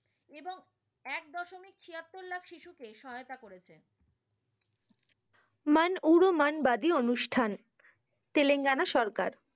সব শিশুকে সহায়াতা করেছে। মান উড়ো মান বাদি অনুষ্ঠান। তেলেঙ্গানা সরকার।